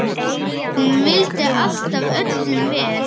Hún vildi alltaf öllum vel.